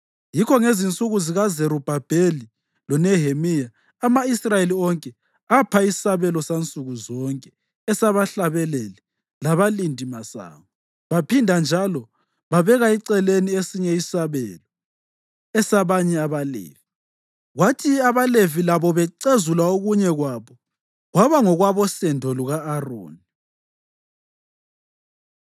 Yikho ngezinsuku zikaZerubhabheli loNehemiya, ama-Israyeli onke apha isabelo sansukuzonke esabahlabeleli labalindimasango. Baphinda njalo babeka eceleni esinye isabelo esabanye abaLevi, kwathi abaLevi labo bacezula okunye kwabo kwaba ngokwabosendo luka-Aroni.